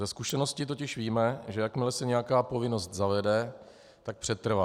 Ze zkušenosti totiž víme, že jakmile se nějaká povinnost zavede, tak přetrvá.